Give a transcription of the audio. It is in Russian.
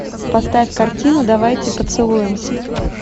поставь картину давайте поцелуемся